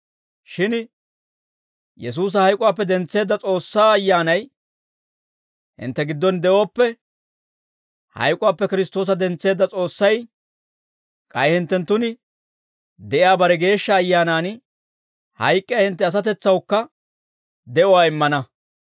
Shin Yesuusa hayk'uwaappe dentseedda S'oossaa Ayyaanay hintte giddon de'ooppe, hayk'uwaappe Kiristtoosa dentseedda S'oossay k'ay hinttenttun de'iyaa bare Geeshsha Ayyaanaan, hayk'k'iyaa hintte asatetsawukka de'uwaa immana.